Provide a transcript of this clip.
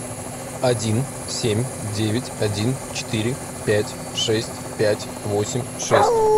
один семь девять один четыре пять шесть пять восемь шесть